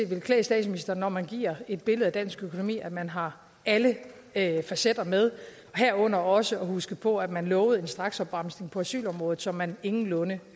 ville klæde statsministeren når man giver et billede af dansk økonomi at man har alle facetter med og herunder også at man husker på at man lovede en straksopbremsning på asylområdet som man ingenlunde